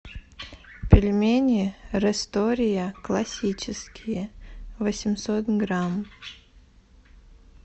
пельмени рестория классические восемьсот грамм